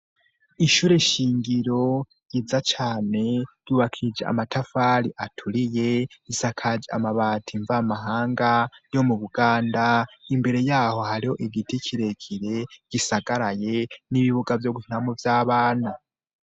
Ishure shyingiro yiza cane yubakije amatafali aturiye isakaje amabati mvamahanga yo mu buganda imbere yaho hariho igiti kirekire gisagaraye n'ibibuga vyo gunamu vy'abantu.